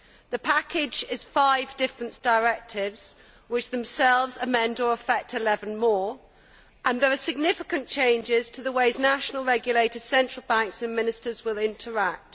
The package is five different directives which themselves amend or affect 11 more, and there are significant changes to the ways national regulators, central banks and ministers will interact.